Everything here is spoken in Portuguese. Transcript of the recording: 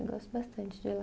Eu gosto bastante de ir lá.